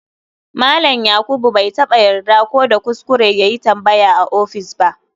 Malam yakuba bai taba yarda ko da kuskure yayi tambaya a office ba.